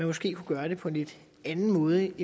måske gøre det på en lidt anden måde